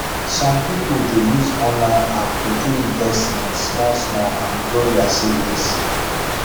some people dey use online app to do investment smallsmall and grow their savings